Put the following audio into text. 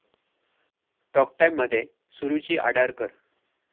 talk टाइम'मध्ये सुरुची आडारकर